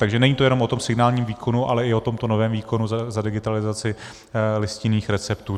Takže není to jenom o tom signálním výkonu, ale i o tomto novém výkonu za digitalizaci listinných receptů.